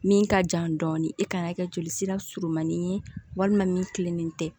Min ka jan dɔɔnin i ka kan ka kɛ joli sira surumani ye walima min kilennen tɛ